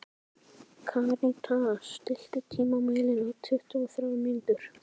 Karítas, stilltu tímamælinn á tuttugu og þrjár mínútur.